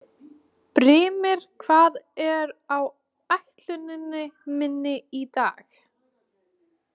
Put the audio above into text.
Brímir, hvað er á áætluninni minni í dag?